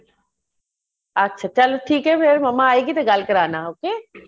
ਅੱਛਾ ਚੱਲ ਠੀਕ ਏ ਫੇਰ ਮਮਾ ਆਈ ਗੇ ਤੇ ਗੱਲ ਕਰਾਨਾ okay